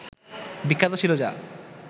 বিখ্যাত ছিল যা